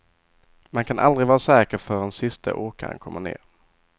Man kan aldrig vara säker förrän siste åkaren kommer ned.